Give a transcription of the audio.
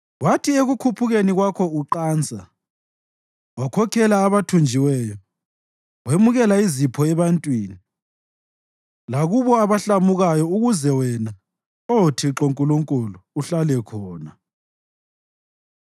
Wathi ekukhuphukeni kwakho uqansa, wakhokhela abathunjiweyo; wemukela izipho ebantwini, lakulabo abahlamukayo ukuze wena, Oh Thixo Nkulunkulu, uhlale khona.